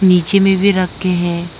नीचे में भी रखे हैं।